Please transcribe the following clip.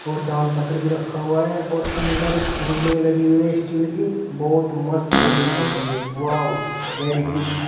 और दान पत्र भी रखा हुआ है और अंदर रेलिंग लगी हुई स्टील की बहुत मस्त रेलिंग लगी हुई है वाॅव वेरी गुड।